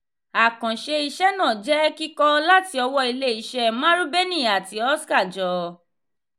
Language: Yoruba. àkànṣe iṣẹ náà jẹ kikọ láti ọwọ ilé iṣé marubeni àti oska-jo.